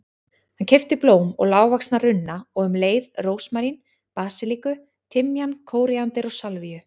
Hann keypti blóm og lágvaxna runna og um leið rósmarín, basilíku, timjan, kóríander og salvíu.